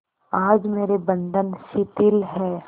आज मेरे बंधन शिथिल हैं